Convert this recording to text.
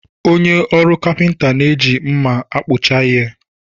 Onye ọrụ kapịnta na-eji mmá a kpụcha ihe.